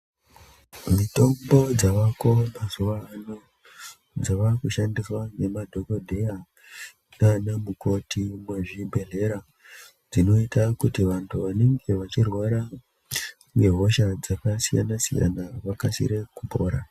Mitombo dzavako mazuva ano dzavakushandiswa nemadhokodheya naana mukoti muzvibhehlera dzinoita kuti vantu vanenge vachirwara nehosha dzakasiyana siyana vakasire kupora.